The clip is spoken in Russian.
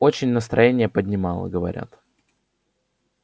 очень настроение поднимала говорят